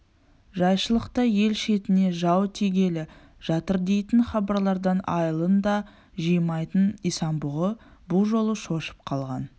жайшылықта ел шетіне жау тигелі жатырдейтін хабарлардан айылын да жимайтын исан-бұғы бұ жолы шошып қалған